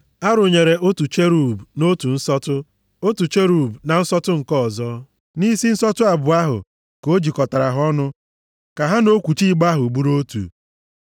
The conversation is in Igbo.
A rụnyere otu cherub nʼotu nsọtụ, otu cherub na nsọtụ nke ọzọ; nʼisi nsọtụ abụọ ahụ, ka o jikọtara ha ọnụ ka ha na okwuchi igbe ahụ bụrụ otu.